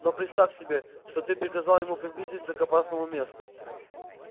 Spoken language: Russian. но представь себе что ты приказал ему приблизиться к опасному месту